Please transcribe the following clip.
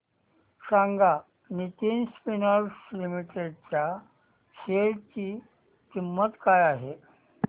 सांगा Nitin spinners limited च्या share ची किंमत काय आहे